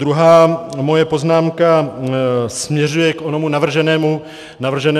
Druhá moje poznámka směřuje k onomu navrženému zkrácení.